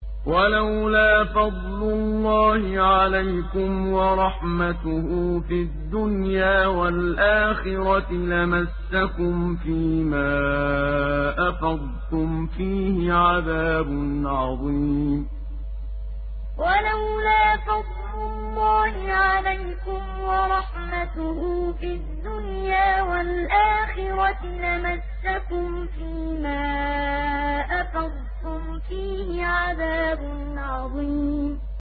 وَلَوْلَا فَضْلُ اللَّهِ عَلَيْكُمْ وَرَحْمَتُهُ فِي الدُّنْيَا وَالْآخِرَةِ لَمَسَّكُمْ فِي مَا أَفَضْتُمْ فِيهِ عَذَابٌ عَظِيمٌ وَلَوْلَا فَضْلُ اللَّهِ عَلَيْكُمْ وَرَحْمَتُهُ فِي الدُّنْيَا وَالْآخِرَةِ لَمَسَّكُمْ فِي مَا أَفَضْتُمْ فِيهِ عَذَابٌ عَظِيمٌ